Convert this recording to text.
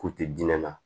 K'u tɛ diɲɛ na